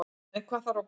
En hvað þarf að borga